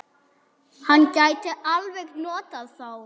Hann gæti alveg notað þá.